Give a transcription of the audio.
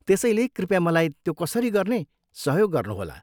त्यसैले, कृपया मलाई त्यो कसरी गर्ने सहयोग गर्नुहोला।